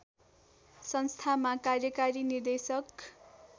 संस्थामा कार्यकारी निर्देशक